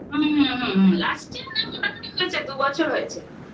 হুম হুম last year না মোটামুটি হয়েছে. দু বছর হয়েছে